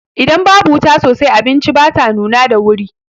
Idan babu wuta sosai, abinci bata nuna da wuri.